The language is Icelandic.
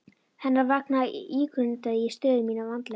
Hennar vegna ígrundaði ég stöðu mína vandlega.